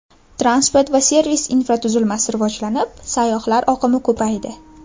Transport va servis infratuzilmasi rivojlanib, sayyohlar oqimi ko‘paydi.